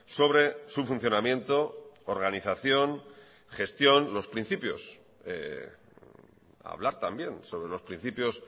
sobre su funcionamiento organización gestión los principios hablar también sobre los principios